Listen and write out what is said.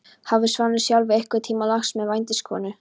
Hafði Svanur sjálfur einhvern tíma lagst með vændiskonu?